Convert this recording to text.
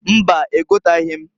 Mbaǃ Egotaghi m.